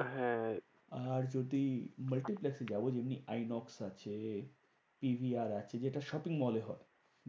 আহ হ্যাঁ, আর যদি multiplex এ যাবো যদি আইনক্স আছে, টি ভি আর আছে সেটা shopping mall এ হয়।